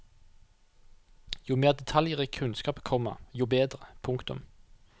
Jo mer detaljrik kunnskap, komma jo bedre. punktum